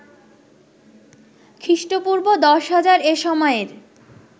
খ্রী: পূর্ব১০০০০ এ সময়ের